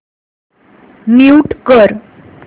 mute कर